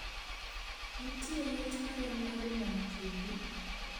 Nitie liet marom nade nam chumbi